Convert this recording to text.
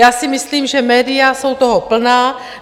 Já si myslím, že média jsou toho plná.